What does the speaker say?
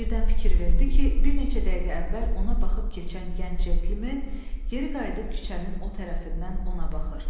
Birdən fikir verdi ki, bir neçə dəqiqə əvvəl ona baxıb keçən gənc centlmen geri qayıdıb küçənin o tərəfindən ona baxır.